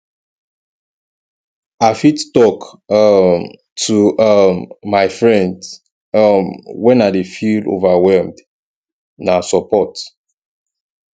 i fit talk um to um my friends um when i dey feel overwhelmed na support